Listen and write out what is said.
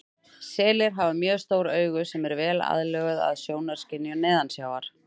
Selir hafa mjög stór augu sem eru vel aðlöguð að sjónskynjun neðansjávar.